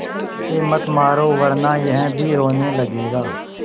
इसे मत मारो वरना यह भी रोने लगेगा